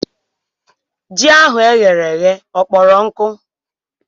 Ji ahụ e ghere eghe ọ kpọrọ nkụ?